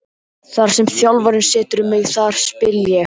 Þar sem þjálfarinn setur mig þar spila ég.